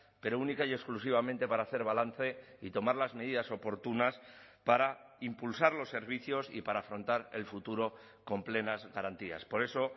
pero única y exclusivamente para hacer balance y tomar las medidas oportunas para impulsar los servicios y para afrontar el futuro con plenas garantías por eso